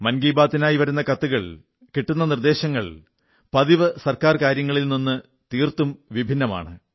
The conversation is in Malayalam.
മൻ കീ ബാത്തിനായി വരുന്ന കത്തുകൾ കിട്ടുന്ന നിർദ്ദേശങ്ങൾ പതിവു ഗവൺമെന്റ് കാര്യങ്ങളിൽ നിന്നും തീർത്തും ഭിന്നമാണ്